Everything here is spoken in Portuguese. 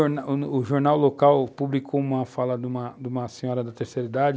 O jornal local publicou uma fala de uma de uma senhora da terceira idade